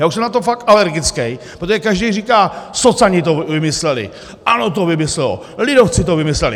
Já už jsem na to fakt alergický, protože každý říká: socani to vymysleli, ANO to vymyslelo, lidovci to vymysleli.